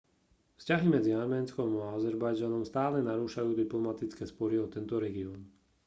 vzťahy medzi arménskom a azerbajdžanom stále narúšajú diplomatické spory o tento región